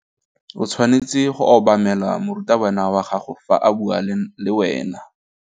O tshwanetse go obamela morutabana wa gago fa a bua le wena.